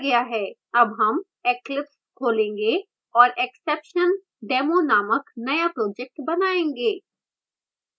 अब हम eclipse खोलेंगे और exceptiondemo नामक now project बनायेंगे